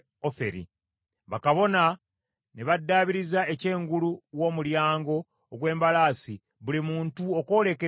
Bakabona ne baddaabiriza ekyengulu w’Omulyango ogw’Embalaasi buli muntu okwolekera ennyumba ye.